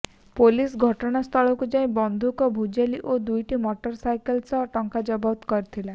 police ଘଟଣାସ୍ଥଳକୁ ଯାଇ ବନ୍ଧୁକ ଭୁଜାଲି ଓ ଦୁଇଟି ମଟର ସାଇକେଲ ସହ ଟଙ୍କା ଜବତ କରିଥିଲା